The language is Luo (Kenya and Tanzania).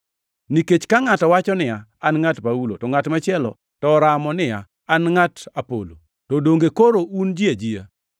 Nikech ka ngʼato wacho niya, “An ngʼat Paulo,” to ngʼat machielo to oramo niya, “An ngʼat Apolo,” to donge koro un ji ajia?